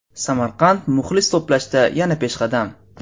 Samarqand muxlis to‘plashda yana peshqadam.